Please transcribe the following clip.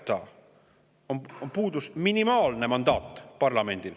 Parlamendil on puudu minimaalne mandaat.